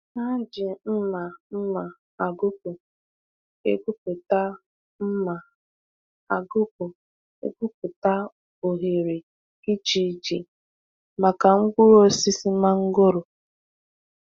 Ha ji mma mma agụkpụ egwupụta mma agụkpụ egwupụta oghere iche iche maka mkpụrụ osisi mangoro.